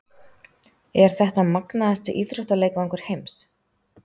Er þetta magnaðasti íþróttaleikvangur heims?